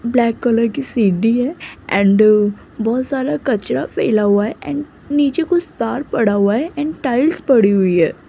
Black colour की सीढ़ी है एंड बहुत सारा कचरा फैला हुआ है एंड नीचे कुछ तार पड़ा हुआ है टाइल्स पड़ी हुई है।